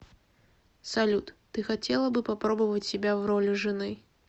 салют ты хотела бы попробовать себя в роли жены